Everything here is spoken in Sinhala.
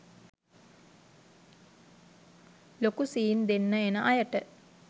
ලොකු සීන් දෙන්න එන අයට